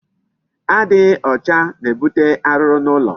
Adịghị ọcha na-ebute arụrụ n'ụlọ.